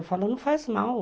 Eu falo, não faz mal.